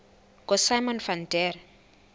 ngosimon van der